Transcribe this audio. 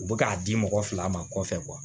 U bɛ k'a di mɔgɔ fila ma kɔfɛ